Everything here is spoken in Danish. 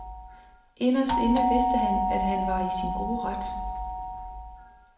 Inderst inde vidste han, at han var i sin gode ret.